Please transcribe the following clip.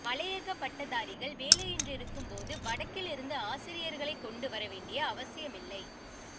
மலையக பட்டதாரிகள் வேலையின்றிருக்கும் போது வடக்கிலிருந்து ஆசிரியர்களை கொண்டுவர வேண்டிய அவசியமில்லை